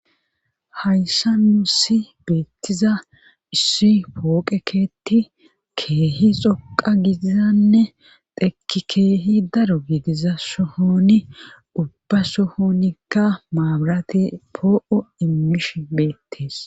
Hayssa nuusi beettiza issi pooqekeeti keehi xoqa gidizanne teki keehi daro giidiza sohooni ubba sohoonikka maabarati poo7o immish beettees